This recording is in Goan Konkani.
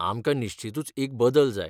आमकां निश्चीतूच एक बदल जाय.